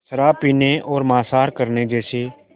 शराब पीने और मांसाहार करने जैसे